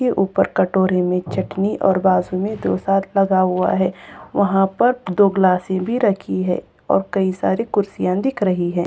ये ऊपर कटोरे में चटनी और बाजू में डोसा लगा हुआ है वहाँ पर दो ग्लासे भी रखी है और कई सारी कुर्सियाँ दिख रही हैं।